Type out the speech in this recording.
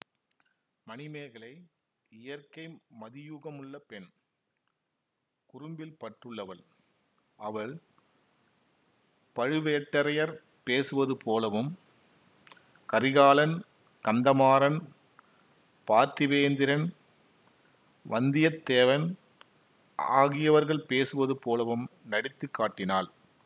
மணிமேகலை இயற்கை மதியூகமுள்ள பெண் குறும்பில் பற்றுள்ளவள் அவள் பழுவேட்டரையர் பேசுவது போலவும் கரிகாலன் கந்தமாறன் பார்த்திபேந்திரன் வந்தியத்தேவன் ஆகியவர்கள் பேசுவது போலவும் நடித்து காட்டினாள்